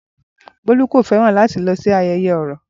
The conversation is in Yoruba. Bolu kò fẹ́ràn láti lọ sí ayẹyẹ Oro.